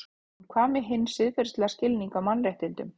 En hvað með hinn siðferðilega skilning á mannréttindum?